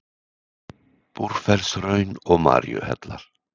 Búrfellshraun og Maríuhellar.